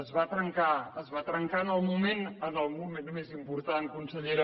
es va trencar es va trencar en el moment més important consellera